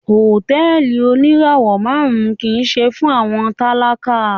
Hotẹẹli onirawọ màrun kii ṣe fun awọn talaka